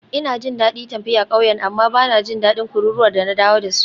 Ina jin daɗin tafiya ƙauyen amma ba na jin daɗin kururuwar da na dawo da su.